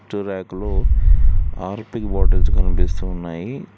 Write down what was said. ట్టు ర్యాక్ లో Harpic bottles కనిపిస్తూ ఉన్నాయి.